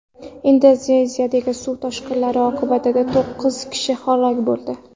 Indoneziyadagi suv toshqinlari oqibatida to‘qqiz kishi halok bo‘ldi.